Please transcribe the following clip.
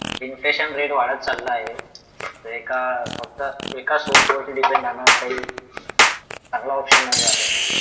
infection rate वाढत चालला आहे तर एका फक्त एका सोर्स वरती डिपेंड आहे ना काही चांगला ऑप्शन नाही आहे